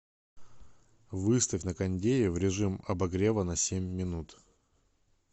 выставь на кондее в режим обогрева на семь минут